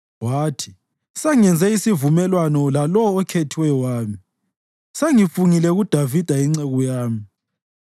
Wathi, “Sengenze isivumelwano lalowo okhethiweyo wami, sengifungile kuDavida inceku yami,